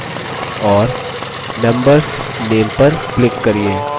और members name पर click करिये